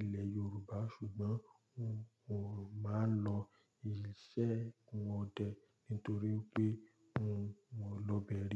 ilẹ̀ Yoruba, ṣùgbọ́n n ò máa lọ ìṣẹ́gun ọdẹ nítorí pé n ò lọ bẹẹ rin.